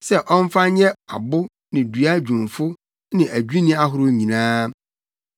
sɛ ɔmfa nyɛ abo ne dua dwumfo ne adwinni ahorow nyinaa.